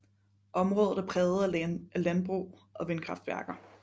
Området er præget af landbrug og vindkraftværker